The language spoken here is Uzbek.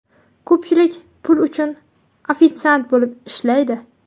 Ko‘pchilik pul uchun ofitsiant bo‘lib ishlaydi.